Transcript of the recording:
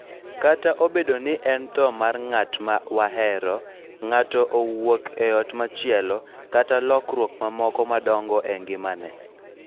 Kata obedo ni en tho mar ng�at ma wahero, ng�ato owuok e ot machielo, kata lokruok mamoko madongo e ngimane,